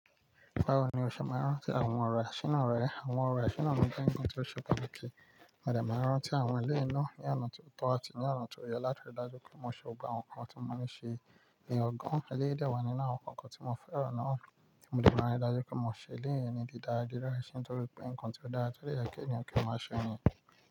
Báwo ni o ṣe máa rán tí àwọn ọ̀rọ̀ àṣínà rẹ? Àwọn ọ̀rọ̀ àṣínà ni ohun gbogbo tí o ṣe pàtàkì. Mà dẹ́ máa rán tí àwọn ẹlẹ́nu ní ọ̀nà tó tọ́ àti ní ọ̀nà tó yọ látọ̀dàjú kí n má ṣe gba nǹkan tí mo ní ṣe. Nìyẹn ọ̀gàn, eléyìí dà wá nínú àwọn nǹkan tí mo fẹ́ràn náà tí mo jẹ́ máa dájú kí n má ṣe léèyẹn ní dídáàrí láìṣe tọrípé nǹkan tí ó dára tó yẹ kí ènìyàn kí ó máa ṣe nìyẹn.